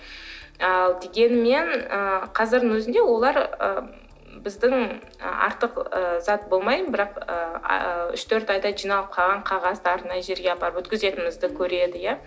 ал дегенмен ы қазірдің өзінде олар ы біздің артық ы зат болмай бірақ ыыы үш төрт айда жиналып қалған қағаздарды мына жерге апарып өткізетінімізді көреді иә